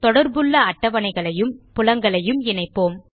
தொடர்புள்ள அட்டவணைகளையும் புலங்களையும் இணைப்போம்